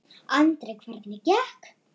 Andri: Hvernig gekk?